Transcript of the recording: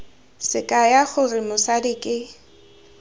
se kaya gore mosadi ke